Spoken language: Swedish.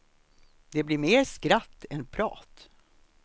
Det blir mer skratt än prat.